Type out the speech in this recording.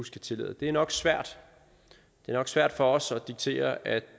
skal tillade det er nok svært nok svært for os at diktere at